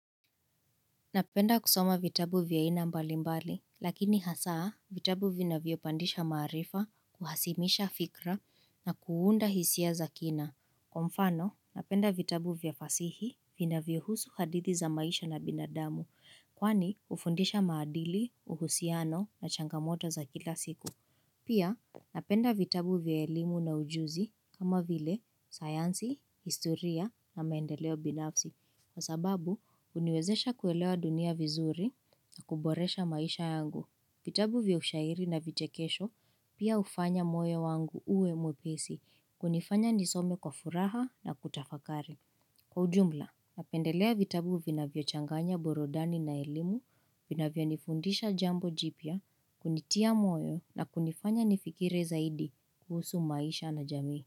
Napenda kusoma vitabu vya aina mbali mbali, lakini hasaa vitabu vinavyopandisha maarifa kuhasimisha fikra na kuunda hisia za kina. Kwa mfano, napenda vitabu vya fasihi vinacvyohusu hadithi za maisha na binadamu, kwani hufundisha maadili, uhusiano na changamoto za kila siku. Pia, napenda vitabu vya elimu na ujuzi kama vile, sayansi, historia na maendeleo binafsi. Kwa sababu, huniwezesha kuelewa dunia vizuri na kuboresha maisha yangu. Vitabu vya ushairi na vichekesho pia hufanya moyo wangu uwe mwepesi kunifanya nisome kwa furaha na kutafakari. Kwa ujumla, napendelea vitabu vinavyochanganya burodani na elimu, vinavyonifundisha jambo jipya, kunitia moyo na kunifanya nifikiri zaidi kuhusu maisha na jamii.